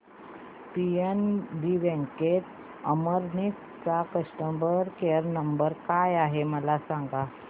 PNB bank Amalner चा customer care number काय आहे मला सांगा